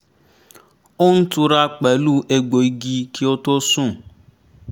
ó ń túra pẹ̀lú ẹgbò igi kí ó tó sùn